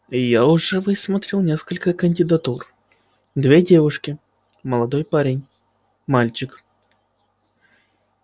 я уже высмотрел несколько кандидатур две девушки молодой парень мальчик